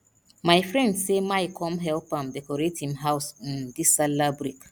my friend say my come help am decorate him house um dis sallah break